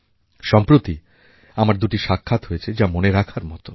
সম্প্রতি আমার দুটি সাক্ষাৎ হয়েছে যা মনে রাখার মতো